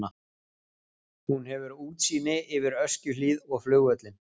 Hún hefur útsýni yfir Öskjuhlíð og flugvöllinn.